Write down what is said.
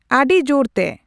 ᱟᱹᱰᱤ ᱡᱳᱨᱛᱮ